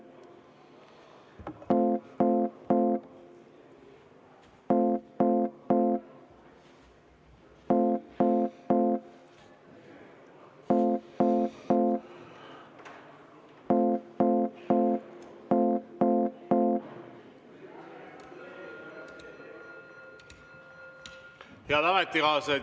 Head ametikaaslased!